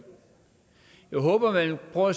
halve år